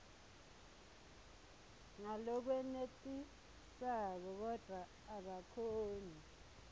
ngalokwenetisako kodvwa akakhoni